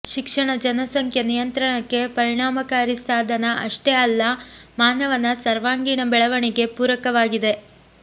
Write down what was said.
ಶಿಕ್ಷಣ ಜನಸಂಖ್ಯೆ ನಿಯಂತ್ರಣಕ್ಕೆ ಪರಿಣಾಮಕಾರಿ ಸಾಧನ ಅಷ್ಟೇ ಅಲ್ಲ ಮಾನವನ ಸರ್ವಾಂಗೀಣ ಬೆಳವಣಿಗೆ ಪೂರಕವಾಗಿದೆ